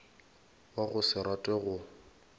wa go se rate go